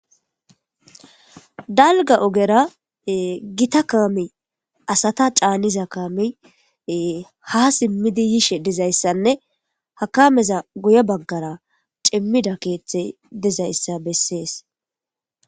dalga ogera gita kaami asata caaniza kaami ha simmidi yishe dizayssanne ha kameza guye baggara cimmida keeththe dizayssa bessees